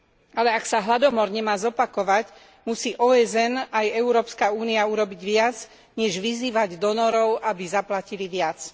Ale ak sa hladomor nemá zopakovať, musí OSN aj Európska únia urobiť viac, než vyzývať donorov, aby zaplatili viac.